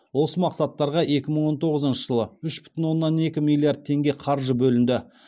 осы мақсаттарға екі мың он тоғызыншы жылы үш бүтін оннан екі миллиард теңге қаржы бөлінді